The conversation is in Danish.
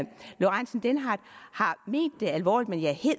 lorentzen dehnhardt har ment det alvorligt men jeg